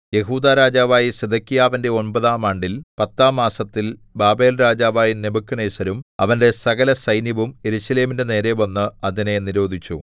യെഹൂദാ രാജാവായ സിദെക്കീയാവിന്റെ ഒമ്പതാം ആണ്ടിൽ പത്താം മാസത്തിൽ ബാബേൽരാജാവായ നെബൂഖദ്നേസരും അവന്റെ സകലസൈന്യവും യെരൂശലേമിന്റെ നേരെ വന്ന് അതിനെ നിരോധിച്ചു